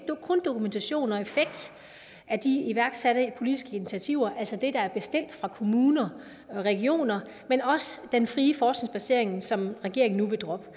kun dokumentation og effekt af de iværksatte politiske initiativer altså det der er bestilt af kommuner og regioner men også den frie forskningsbaserede aktivitet som regeringen nu vil droppe det